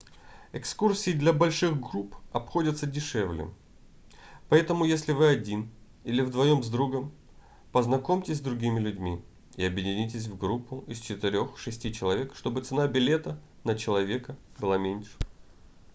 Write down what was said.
экскурсии для больших групп обходятся дешевле поэтому если вы один или вдвоем с другом познакомьтесь с другими людьми и объединитесь в группу из четырех-шести человек чтобы цена билета на человека была меньше